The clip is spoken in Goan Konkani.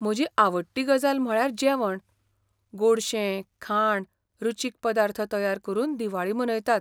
म्हजी आवडटी गजाल म्हळ्यार जेवण. गोडशें, खाण, रुचीक पदार्थ तयार करून दिवाळी मनयतात.